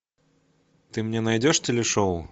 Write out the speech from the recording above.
ты мне найдешь телешоу